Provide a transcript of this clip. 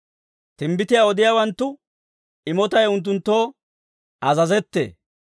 Timbbitiyaa odiyaawanttu imotay unttunttoo azazettee.